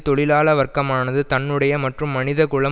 தொழிலாள வர்க்கமானது தன்னுடைய மற்றும் மனிதகுலம்